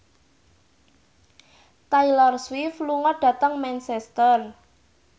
Taylor Swift lunga dhateng Manchester